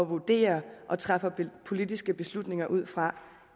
vurderer og træffer politiske beslutninger ud fra